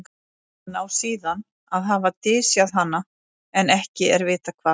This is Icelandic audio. hann á síðan að hafa dysjað hana en ekki er vitað hvar